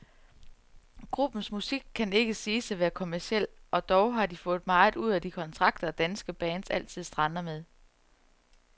Gruppens musik kan ikke siges at være kommerciel, og dog har de fået meget ud af de kontrakter, danske bands altid strander med.